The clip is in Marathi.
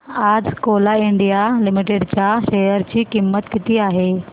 आज कोल इंडिया लिमिटेड च्या शेअर ची किंमत किती आहे